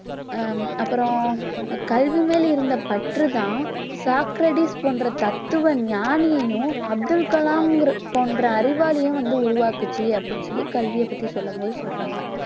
ஹம் அப்புறம் கல்வி மேல் இருந்த பற்று தான் சாக்ரடீஸ் போன்ற தத்துவ ஞானியையும் அப்துல் கலாம் ன்கிற~ போன்ற அறிவாளியும் வந்து உருவாக்கச்சு அப்படின்னு சொல்லி கல்வியை பத்தி சொல்லும் போது சொல்லுகிறாங்க